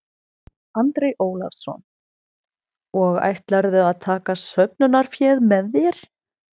Andri Ólafsson: Og ætlarðu að taka söfnunarféð með þér?